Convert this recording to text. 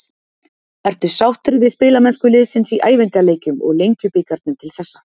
Ertu sáttur við spilamennsku liðsins í æfingaleikjum og Lengjubikarnum til þessa?